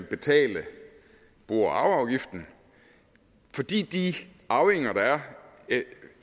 betale bo og arveafgiften fordi de arvinger der er